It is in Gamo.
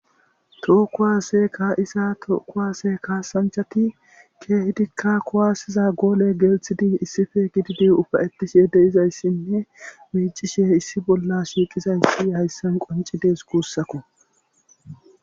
tookuwase kaisa tookuwase kaasanchati keehidikka kuwaasiza goole geelthidi issife gididi ufayettishe deyizayssinne miicishe issi bolla shiiqizayssi hayssan qoncidees kuussako